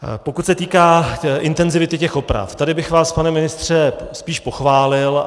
Pokud se týká intenzity těch oprav, tady bych vás, pane ministře, spíš pochválil.